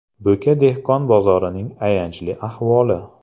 Bo‘ka dehqon bozorining ayanchli ahvoli .